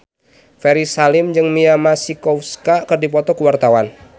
Ferry Salim jeung Mia Masikowska keur dipoto ku wartawan